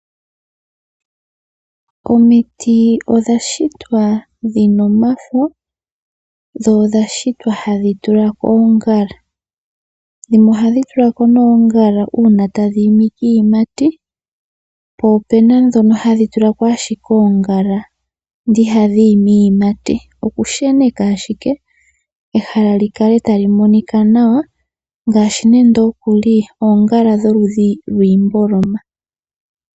Omiti odha shitwa dhina omafo dho odha shitwa hadhi tula ko oongala. Ohadhi tula ko oongala uuna tadhi tula ko iiyimati, po opena ndhono hadhi tula ko ashike oongala ndele ihadhi imi iiyimati, okusheneka ashike ehala li kale tali monika nawa ngaashi nande okuli oongala dhiimboloma.